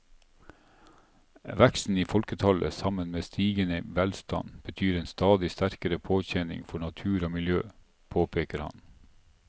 Veksten i folketallet sammen med stigende velstand betyr en stadig sterkere påkjenning for natur og miljø, påpeker han.